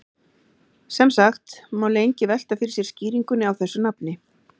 Sem sagt má lengi velta fyrir sér skýringunni á þessu nafni.